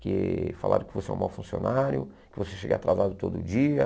Que falaram que você é um mau funcionário, que você chega atrasado todo dia.